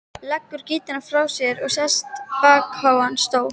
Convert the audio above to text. Leggur gítarinn frá sér og sest í bakháan stól.